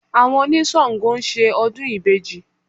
Àwọn oníṣàngọ̀ ń ṣe ọdún ìbejì